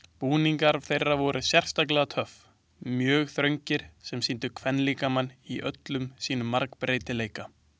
Búningar þeirra voru sérstaklega töff, mjög þröngir sem sýndu kvenlíkamann í öllum sínum margbreytileika.